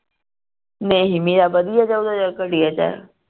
ਨਹੀਂ ਮੇਰਾ ਵਧੀਆ ਚਲਦਾ ਚ ਘਟੀਆ ਚ